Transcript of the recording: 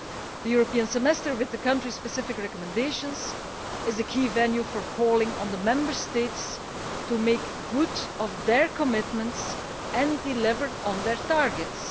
The European Semester with the country specific recommendations is a key venue for calling on the Member States to make good on their commitments and deliver on their targets.